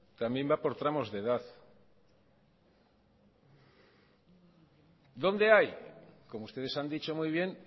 también va por tramos de edad dónde hay como ustedes han dicho muy bien